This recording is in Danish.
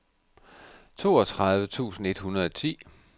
toogtredive tusind et hundrede og ti